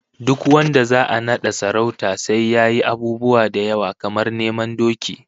Duk wanda za'a nada sarauta sai yayi abubuwa da yawa, kamar neman doki